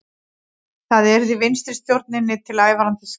Það yrði vinstristjórninni til ævarandi skammar